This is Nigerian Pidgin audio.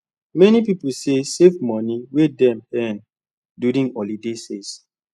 many people say save money wey dem earn during holiday sales